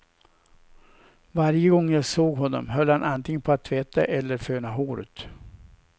Varje gång jag såg honom höll han antingen på att tvätta eller föna håret.